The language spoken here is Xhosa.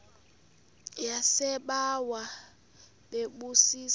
yasebawa bebu zisa